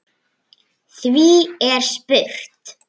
Því er spurt